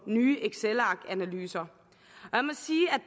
nye excelarkanalyser